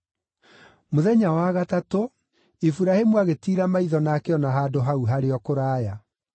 Mũthenya wa gatatũ, Iburahĩmu agĩtiira maitho na akĩona handũ hau harĩ o kũraya.